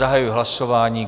Zahajuji hlasování.